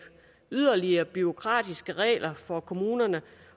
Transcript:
yderligere bureaukratiske regler for kommunerne